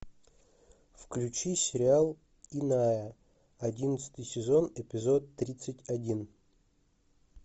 включи сериал иная одиннадцатый сезон эпизод тридцать один